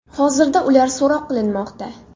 Hozirda ular so‘roq qilinmoqda.